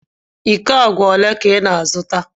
Íkó àgwà ólé ka ị na-azụta?